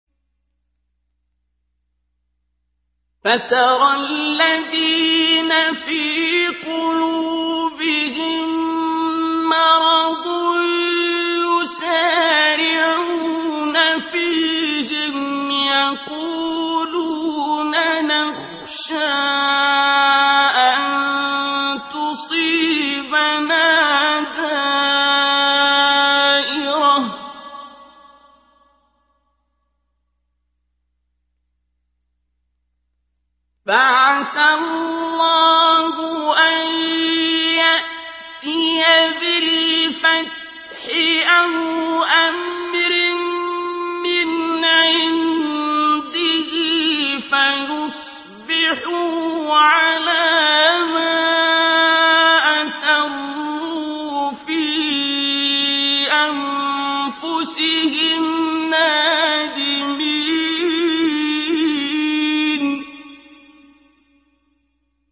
فَتَرَى الَّذِينَ فِي قُلُوبِهِم مَّرَضٌ يُسَارِعُونَ فِيهِمْ يَقُولُونَ نَخْشَىٰ أَن تُصِيبَنَا دَائِرَةٌ ۚ فَعَسَى اللَّهُ أَن يَأْتِيَ بِالْفَتْحِ أَوْ أَمْرٍ مِّنْ عِندِهِ فَيُصْبِحُوا عَلَىٰ مَا أَسَرُّوا فِي أَنفُسِهِمْ نَادِمِينَ